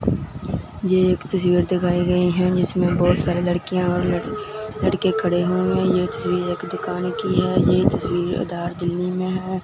ए एक तस्वीर दिखाई गई है जिसमें बहोत सारे लड़कियां और लड़के खड़े हुए हैं। ए तस्वीर एक दुकान की है ये तस्वीर में है।